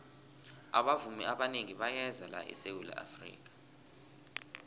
abavumi abanengi bayeza la esawula afrika